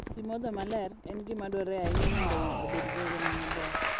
Pi modho maler en gima dwarore ahinya mondo winy obed gi ngima maber.